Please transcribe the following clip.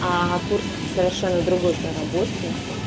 ага курс совершенно другой проработки